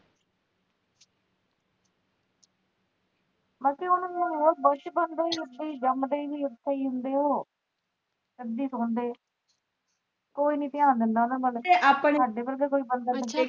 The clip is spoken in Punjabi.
ਮਾਸੀ ਜਾਮਦੇ ਈ ਉਥੇ ਹੁੰਦੇ ਉਹ ਏਦਾ ਈ ਸੌਣਦੇ ਕੋਈ ਨੀ ਤਿਆਨ ਦਿੰਦਾ ਉਨ੍ਹਾਂ ਵੱਲ